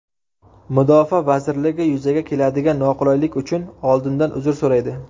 Mudofaa vazirligi yuzaga keladigan noqulaylik uchun oldindan uzr so‘raydi.